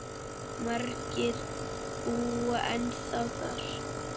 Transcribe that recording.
Margir búa ennþá þar.